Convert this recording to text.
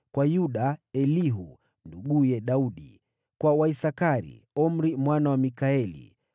kwa Yuda: Elihu, nduguye Daudi; kwa Waisakari: Omri mwana wa Mikaeli;